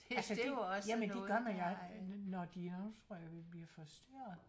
Altså det jamen det gør man når de nu tror jeg vi bliver forstyrret